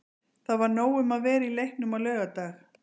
Það var nóg um að vera í leiknum á laugardag.